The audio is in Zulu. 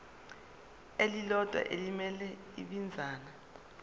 elilodwa elimele ibinzana